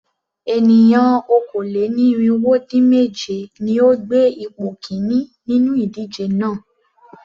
Ènìyàn okòó-lé-ní-irínwó-dín-mèje ni ó gbé ipò kìíní nínú ìdíje náà.